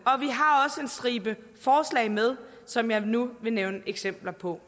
og stribe forslag med som jeg nu vil nævne eksempler på